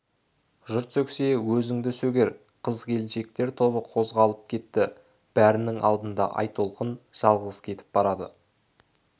жұрт сөксе өзіңді сөгер қыз келіншектер тобы қозғалып кетті бәрінің алдында айтолқын жалғыз кетіп барады